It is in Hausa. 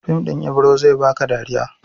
Fim ɗin Ibiro zai ba ka dariya.